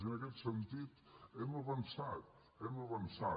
i en aquest sentit hem avançat hem avançat